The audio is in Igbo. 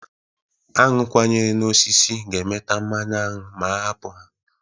Aṅụ kwanyere n'osisi ahụ ga-emeta mmanụ aṅụ ma a hapụ ha.